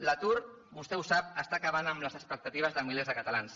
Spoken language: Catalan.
l’atur vostè ho sap està acabant amb les expectatives de milers de catalans